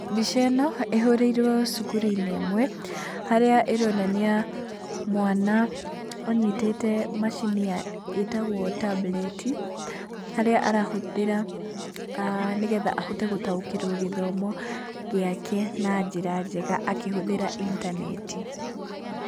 Mbica ĩno ĩhũrĩirwo cukuru-inĩ ĩmwe harĩa ĩronania mwana anyitĩte macini ya, ĩtagwo tambureti harĩa arahũthĩra nĩ getha ahote gũtaũkĩrwo gĩthomo gĩake na njĩra njega akĩhũthĩra intaneti.